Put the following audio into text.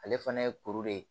Ale fana ye kuru de ye